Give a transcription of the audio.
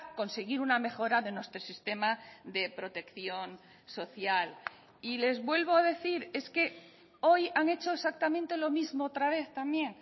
conseguir una mejora de nuestro sistema de protección social y les vuelvo a decir es que hoy han hecho exactamente lo mismo otra vez también